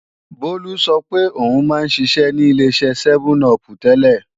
Bólú sọ pé o ń má ń ṣiṣẹ́ ní Ileṣẹ́ sẹ́mẹ́n-upù tẹ́lẹ̀